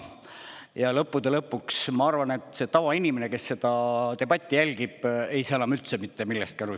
Ja lõppude lõpuks ma arvan, et see tavainimene, kes seda debatti jälgib, ei saa enam üldse mitte millestki aru.